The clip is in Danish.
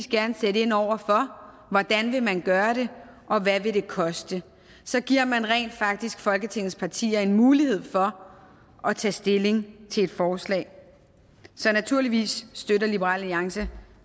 gerne sætte ind over for hvordan vil man gøre det og hvad vil det koste så giver man rent faktisk folketingets partier en mulighed for at tage stilling til et forslag naturligvis støtter liberal alliance